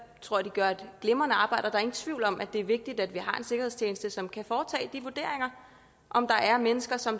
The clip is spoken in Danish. tror de gør et glimrende arbejde og der er ingen tvivl om at det er vigtigt at vi har en sikkerhedstjeneste som kan foretage de vurderinger af om der er mennesker som